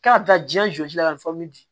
K'a bɛ taa ji jɔsi la ka di